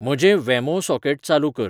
म्हजें वेमो सॉकेट चालू कर